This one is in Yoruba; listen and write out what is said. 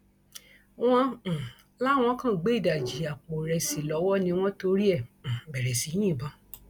wọn um láwọn kan gbé ìdajì àpò ìrẹsì lọwọ ni wọn torí ẹ um bẹrẹ sí í yìnbọn